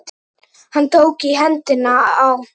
Hann tók í hendina á